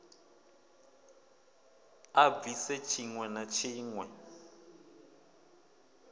a bvise tshiwe na tshiwe